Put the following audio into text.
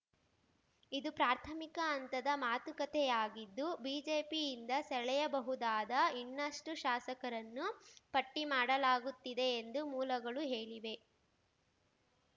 ಇದು ಪ್ರಾಥಮಿಕ ಹಂತದ ಮಾತುಕತೆಯಾಗಿದ್ದು ಬಿಜೆಪಿಯಿಂದ ಸೆಳೆಯಬಹುದಾದ ಇನ್ನಷ್ಟುಶಾಸಕರನ್ನು ಪಟ್ಟಿಮಾಡಲಾಗುತ್ತಿದೆ ಎಂದು ಮೂಲಗಳು ಹೇಳಿವೆ